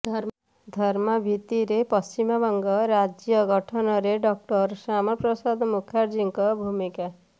ଧର୍ମ ଭିତ୍ତିରେ ପଶ୍ଚିମବଙ୍ଗ ରାଜ୍ୟ ଗଠନରେ ଡଃ ଶ୍ୟାମାପ୍ରସାଦ ମୁଖାର୍ଜୀଙ୍କ ଭୂମିକା